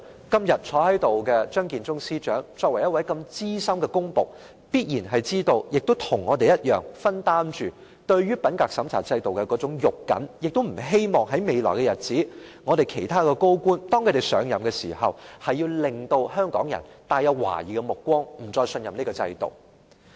今天坐在會議廳內的張建宗司長是資深的公僕，必然與我們一樣重視品格審查制度，亦不希望未來政府其他高官上任時，香港人投來懷疑的目光，不再信任這制度。